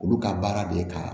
Olu ka baara de ye ka